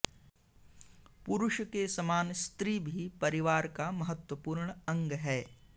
पुरुष के समान स्त्री भी परिवार का महत्त्वपूर्ण अग् है